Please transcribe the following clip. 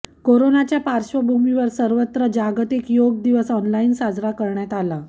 कोरोनाच्या पार्श्वभूमीवर सर्वत्र जागतिक योग दिवस ऑनलाईन साजरा करण्यात आला